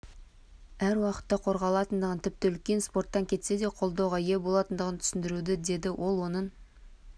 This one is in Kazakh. әр уақытта қорғалатындығын тіпті үлкен спорттан кетсе де қолдауға ие болатындығын түсіндіру деді ол оның